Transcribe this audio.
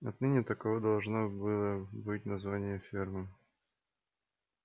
отныне таково должно было быть название фермы